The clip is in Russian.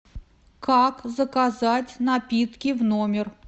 как заказать напитки в номер